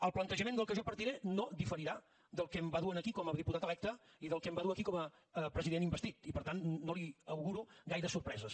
el plantejament del qual jo partiré no diferirà del que em va dur aquí com a diputat electe i del que em va dur aquí com a president investit i per tant no li auguro gaires sorpreses